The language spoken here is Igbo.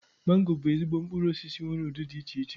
Mangoro bụ ezigbo mkpụrụosisi nwere ụdị dị iche iche